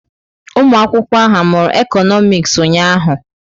Ụmụ akwụkwọ ahụ amụru Ekonomis ụnyahụ?